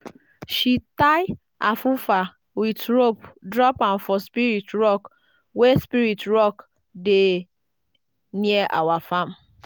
she tie afufa with rope drop am for spirit rock wey spirit rock dey near our farm.